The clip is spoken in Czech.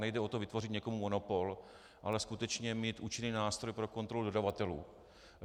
Nejde o to vytvořit někomu monopol, ale skutečně mít účinný nástroj pro kontrolu dodavatelů.